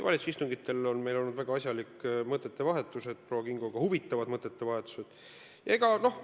Valitsuse istungitel on meil olnud väga asjalikud ja huvitavad mõttevahetused proua Kingoga.